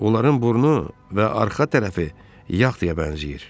Onların burnu və arxa tərəfi yağdıya bənzəyir.